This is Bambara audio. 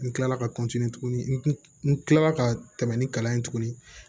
N kilala ka tuguni n kilala ka tɛmɛ ni kalan ye tuguni